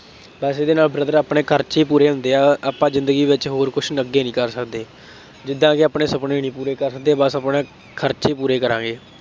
ਪੈਸੇ ਦੇ ਨਾਲ brother ਆਪਣੇ ਖਰਚੇ ਹੀ ਪੂਰੇ ਹੁੰਦੇ ਆ, ਆਂਪਾਂ ਜ਼ਿੰਦਗੀ ਵਿੱਚ ਹੋਰ ਕੁੱਝ ਅੱਗੇ ਨਹੀਂ ਕਰ ਸਕਦੇ, ਜਿਦਾਂ ਕਿ ਆਪਣੇ ਸੁਪਨੇ ਨਹੀਂ ਪੂਰੇ ਕਰ ਹੁੰਦੇ ਬੱਸ ਆਪਣੇ ਖਰਚੇ ਪੂਰੇ ਕਰਾਂਗੇ।